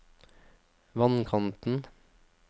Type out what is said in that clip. vannkanten